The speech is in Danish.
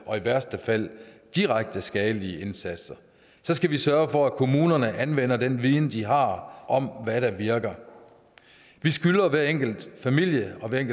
og i værste fald direkte skadelige indsatser skal vi sørge for at kommunerne anvender den viden de har om hvad der virker vi skylder hver enkelt familie og hvert